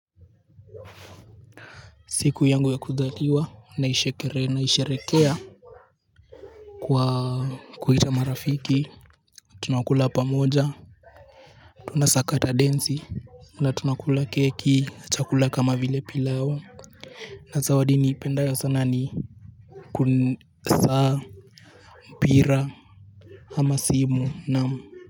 Siku yangu ya kuzaliwa, naisherehekea kwa kuita marafiki, tunakula pamoja, tunasakata densi, na tunakula keki, chakula kama vile pilau, na zawadi niipendayo sana ni saa, mpira, ama simu, naam.